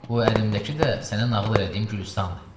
Bu əlimdəki də sənə nağıl elədiyim Gülüstandır.